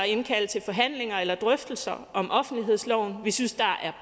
indkalde til forhandlinger eller drøftelser om offentlighedsloven vi synes der er